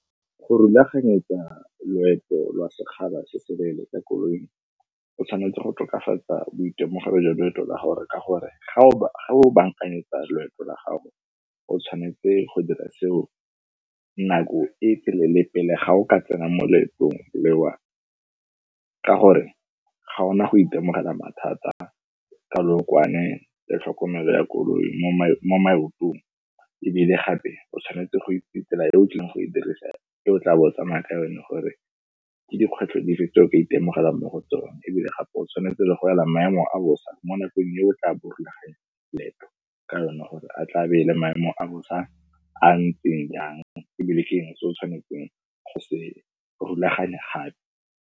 Go rulaganyetsa loeto lwa sekgala se se leele ka koloi, o tshwanetse go tokafatsa boitemogelo jwa loeto la gago ka gore ga o bankanyetsa loeto la gago, o tshwanetse go dira seo nako e telele pele ga o ka tsena mo leetong lewa, ka gore ga o na go itemogela mathata ka lookwane le tlhokomelo ya koloi mo maotong. Ebile gape, o tshwanetse go itse tsela eo o tlileng go e dirisa, e o tla bo o tsamaya ka yone gore ke dikgwetlho dife tse o ka itemogela mo go tsona. Ebile gape o tshwanetse le go ela maemo a bosa mo nakong e o tla bo rulaganya leeto ka yone gore a tla be e le maemo a bosa a a ntseng yang ebile ke eng se o tshwanetseng go se rulaganya gape.